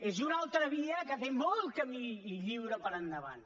és una altra via que té molt camí lliure per endavant